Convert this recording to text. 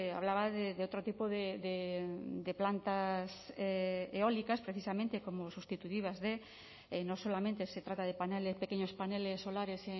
hablaba de otro tipo de plantas eólicas precisamente como sustitutivas de no solamente se trata de pequeños paneles solares